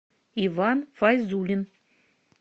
иван файзулин